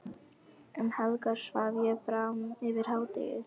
Um helgar svaf ég fram yfir hádegi.